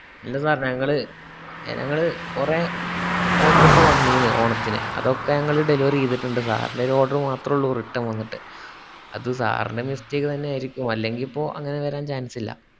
ഇല്ല sir ഞങ്ങള് ഞങ്ങള്കൊറേ orders വന്നീന്നു ഓണത്തിന്ന് അത് ഒക്കെ ഞങ്ങള് delivery ഈതിട്ടുണ്ട് sir ന്റ്റെ ഒരു order മാത്രേ return വന്നിട്ട് അത് sir ന്റെ mistake തന്നെ ആയിർക്കും അല്ലങ്കിപ്പോ അങ്ങനെവരാൻ chance ല്ല